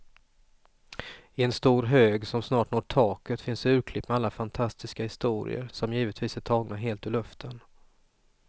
I en stor hög som snart når taket finns urklipp med alla fantastiska historier, som givetvis är tagna helt ur luften.